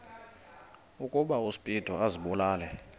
ukuba uspido azibulale